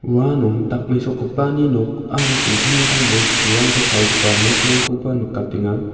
uano dakmesokgipani nok aro dingtang dingtang bosturangko palgipa nokrangkoba nikatenga.